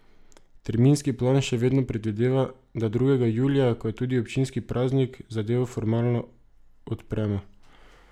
Terminski plan še vedno predvideva, da drugega julija, ko je tudi občinski praznik, zadevo formalno odpremo.